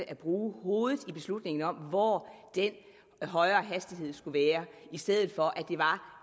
at bruge hovedet i beslutningen om hvor den højere hastighed skulle være i stedet for at det var